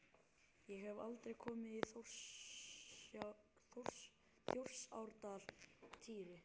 Ég hef aldrei komið í Þjórsárdal, Týri.